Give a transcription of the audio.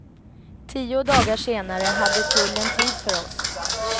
Tio dagar senare hade tullen tid för oss.